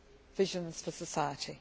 visions for society.